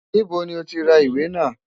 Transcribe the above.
Níbo ni ó ti ra ìwé náà?